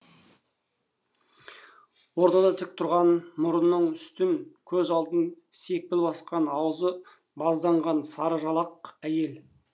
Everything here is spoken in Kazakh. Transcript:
ортада тік тұрған мұрнының үстін көз алдын сепкіл басқан аузы базданған сары жалақ әйел